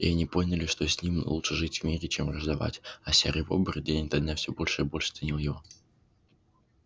и они поняли что с ним лучше жить в мире чем враждовать а серый бобр день ото дня всё больше и больше ценил его